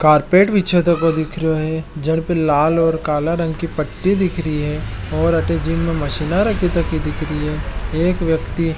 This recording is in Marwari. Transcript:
कारपेट भी छो दिख रहो है जे पे लाल और काला रंग की पट्टी दिख रही है और अटे जिम में मशीन रखी दिख रही है एक व्यति --